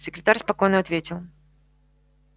секретарь спокойно ответил